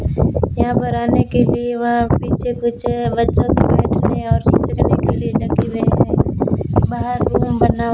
यहां पर आने के लिए वहां पीछे कुछ बच्चों के बैठने और लिए लगे हुए हैं बाहर ।